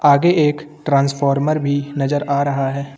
आगे एक ट्रांसफार्मर भी नजर आ रहा है।